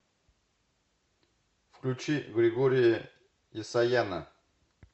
включи григория есаяна